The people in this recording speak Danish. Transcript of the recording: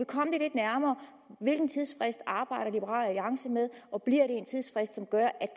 komme det lidt nærmere hvilken tidsfrist arbejder liberal alliance med og bliver det en tidsfrist som gør at